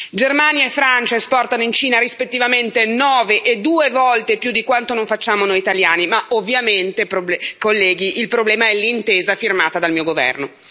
Germania e Francia esportano in Cina rispettivamente 9 e 2 volte più di quanto non facciamo noi italiani, ma ovviamente, colleghi, il problema è l'intesa firmata dal mio governo.